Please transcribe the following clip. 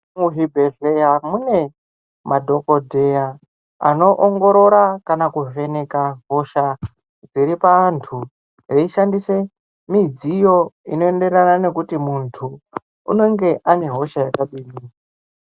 Muzvibhedhlera mune madhokoteya anoongorora kana kuvheneka hosha dziri paantu aishandisa midziyo inoenderana nekuti muntu unenge une hosha yakadini